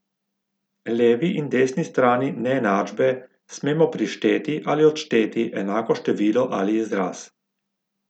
Levi in desni strani neenačbe smemo prišteti ali odšteti enako število ali izraz.